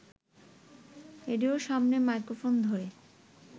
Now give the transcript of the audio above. রেডিওর সামনে মাইক্রোফোন ধরে